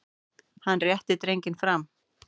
Hann réttir drenginn fram.